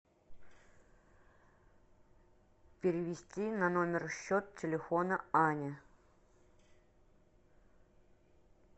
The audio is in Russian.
перевести на номер счет телефона ани